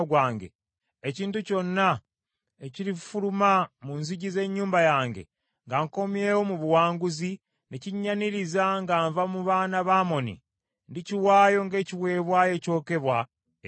ekintu kyonna ekirifuluma mu nzigi z’ennyumba yange nga nkomyewo mu buwanguzi, ne kinyaniriza nga nva mu baana ba Amoni, ndikiwaayo ng’ekiweebwayo ekyokebwa eri Mukama .”